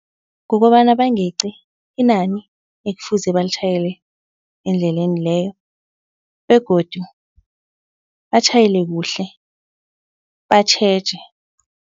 Kukobana bangeci inani ekufuze balitjhayele endleleni leyo begodu batjhayele kuhle batjheje.